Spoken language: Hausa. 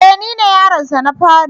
E! Nine yaronsa na fari.